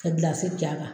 Ka gilansi j'a kan